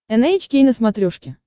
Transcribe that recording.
эн эйч кей на смотрешке